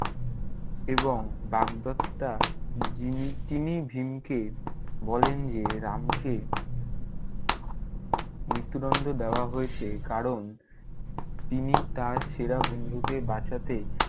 এবং বাগদত্তা যিনি~ জিনিই ভীমকে বলেন যে রামকে মৃত্যুদণ্ড দেওয়া হয়েছে কারণ তিনি তার সেরা বন্ধুকে বাঁচাতে-